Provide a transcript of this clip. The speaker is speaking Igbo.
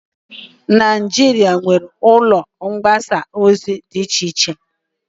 Najịrịa nwere ụlọ mgbasa ozi di iche iche